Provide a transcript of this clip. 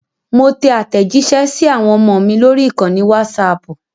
Mo tẹ àtẹ̀jísẹ́ sí àwọn ọmọ mi lórí ìkànnì Wásaapù